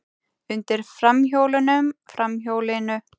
Undir framhjólunum, framhjólinu.